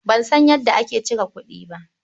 Ban san yadda ake cire kuɗi ba.